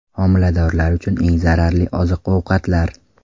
Homiladorlar uchun eng zararli oziq-ovqatlar.